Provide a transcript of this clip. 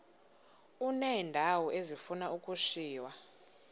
uneendawo ezifuna ukushiywa